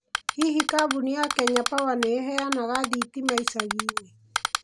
Hihi kambuni ya Kenya Power nĩ ĩheanaga thitima ĩcagi-inĩ?